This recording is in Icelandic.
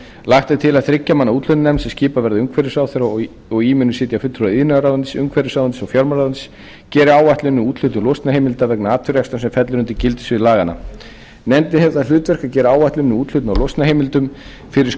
lagt er til að þriggja manna úthlutunarnefnd sem skipuð verði af umhverfisráðherra og í munu sitja fulltrúar iðnaðarráðuneytis umhverfisráðuneytis og fjármálaráðuneytis geri áætlun um úthlutun losunarheimilda vegna atvinnurekstrar sem fellur undir gildissvið laganna nefndin hefur það hlutverk að gera áætlun um úthlutun á losunarheimildum fyrir